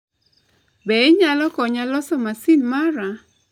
Be inyalo konya loso masin mara?